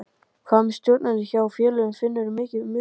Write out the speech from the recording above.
Hvað með stjórnendur hjá félögunum, finnurðu mikinn mun á þeim?